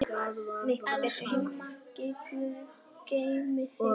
Elsku Maggi, guð geymi þig.